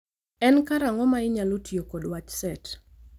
En karang'o ma inyalo tiyo kod wach set